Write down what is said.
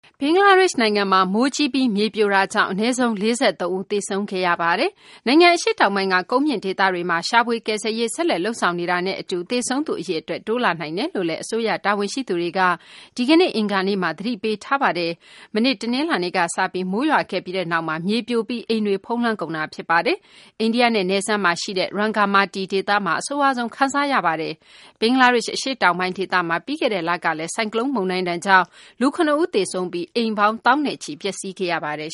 ဘင်္ဂလားဒေရှ့် နိုင်ငံမှာ မိုးကြီးပြီး မြေပြိုတာကြောင့် အနည်းဆုံး ၄၃ ဦး သေဆုံးခဲ့ပါတယ်။ နိုင်ငံ အရှေ့တောင်ပိုင်းက ကုန်းမြင့်ဒေသတွေမှာ ရှာဖွေ ကယ်ဆယ်ရေး ဆက်လက်လုပ်ဆောင်နေတာနဲ့ အတူ သေဆုံးသူ အရေအတွက် တိုးလာနိုင်တယ်လို့လည်း အစိုးရ တာဝန်ရှိသူတွေက ဒီကနေ့ အင်္ဂါနေ့မှာ သတိပေးထားပါတယ်။ မနေ့ တနလာၤနေ့က စပြီး မိုးရွာခဲ့ပြီးနောက် မြေပြိုပြီး အိမ်တွေကို ဖုံးလွှမ်းကုန်တာ ဖြစ်ပါတယ်။ အိန္ဒိယနဲ့ နယ်စပ်မှာ ရှိတဲ့ Rangamati ဒေသမှာ အဆိုးရွားဆုံး ခံစားနေရပါတယ်။ ဘင်္ဂလားဒေရှ့ အရှေ့တောင်ပိုင်း ဒေသမှာ ပြီးခဲ့တဲ့ လကလည်း ဆိုင်ကလုန်းမုန်တိုင်းဒဏ်ကြောင့် လူ ၇ ဦး သေဆုံးပြီး အိမ်ပေါင်း သောင်းနဲ့ချီ ပျက်စီးခဲ့ရပါတယ်